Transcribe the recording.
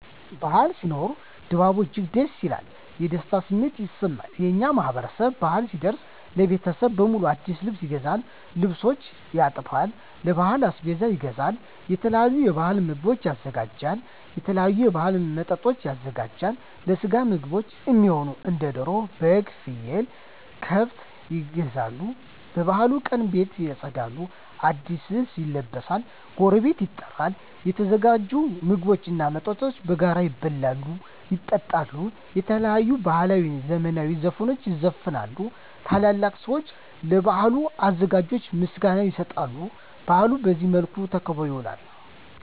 በዓል ሲኖር ድባቡ እጅግ ደስ ይላል። የደስታ ስሜትም ይሰማል። የእኛ ማህበረሰብ በአል ሲደርስ ለቤተሰብ በሙሉ አዲስ ልብስ ይገዛል፤ ልብሶችን ያጥባል፤ ለበዓል አስቤዛ ይገዛል፤ የተለያዩ የበዓል ምግቦችን ያዘጋጃል፤ የተለያዩ የበዓል መጠጦችን ያዘጋጃል፤ ለስጋ ምግብ እሚሆኑ እንደ ደሮ፤ በግ፤ ፍየል፤ ከብት ይገዛሉ፤ የበዓሉ ቀን ቤት ይፀዳል፤ አዲስ ልብስ ይለበሳል፤ ጎረቤት ይጠራል፤ የተዘጋጁ ምግቦች እና መጠጦች በጋራ ይበላሉ፤ ይጠጣሉ፤ የተለያዩ ባህላዊ እና ዘመናዊ ዘፈኖች ይዘፈናሉ፤ ትላልቅ ሰዊች ለበዓሉ አዘጋጆች ምስጋና ይሰጣሉ፤ በአሉ በዚህ መልክ ተከብሮ ይውላል።